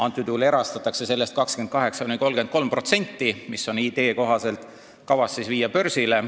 Praegu erastatakse sellest 28–33%, idee kohaselt on see osa kavas viia börsile.